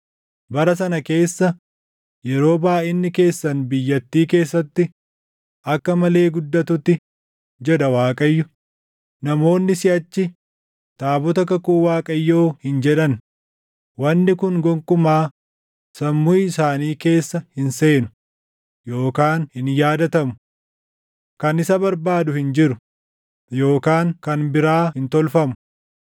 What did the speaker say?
Bara sana keessa, yeroo baayʼinni keessan biyyattii keessatti akka malee guddatutti,” jedha Waaqayyo, “Namoonni siʼachi, ‘Taabota kakuu Waaqayyoo’ hin jedhan.” Wanni kun gonkumaa sammuu isaanii keessa hin seenu, yookaan hin yaadatamu; kan isa barbaadu hin jiru, yookaan kan biraa hin tolfamu.